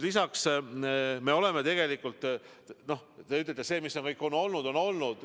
Te ütlete, et mis on olnud, see on olnud.